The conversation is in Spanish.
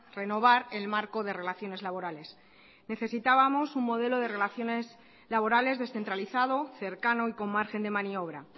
renovar el marco de relaciones laborales necesitábamos un modelo de relaciones laborales descentralizado cercano y con margen de maniobra